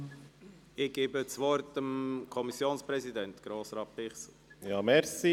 Ich erteile dem Kommissionspräsidenten Grossrat Bichsel das Wort.